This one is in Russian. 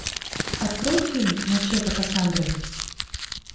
открой фильм мачете кассандры